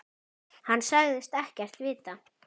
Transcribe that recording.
Hann sagðist ekkert vita.